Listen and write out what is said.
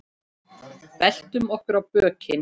Veltum okkur á bökin.